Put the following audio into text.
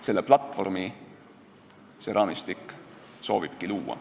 Seda platvormi see raamistik soovibki luua.